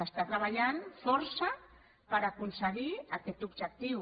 es treballa força per aconseguir aquest objectiu